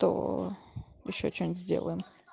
то ещё что-нибудь сделаем